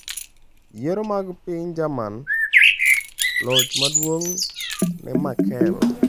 Yiero mag piny Jerman: Loch maduong' ne Merkel